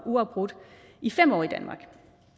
uafbrudt i fem år